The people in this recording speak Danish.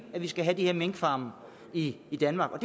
at vi skal have de her minkfarme i danmark og